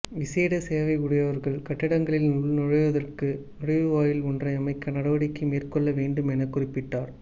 விசேட தேவையுடையவர்கள் கட்டடங்களில் உள் நுழைவதற்கு நுழைவுவாயில் ஒன்று அமைக்க நடவடிக்கை மேற்கொள்ள வேண்டும் என குறிப்பிட்டார்